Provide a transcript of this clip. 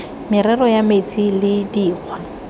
merero ya metsi le dikgwa